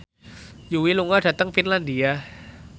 Yui lunga dhateng Finlandia